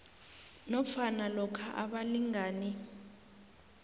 nofana lokha abalingani